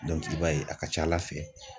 i b'a ye a ka ca ala fɛ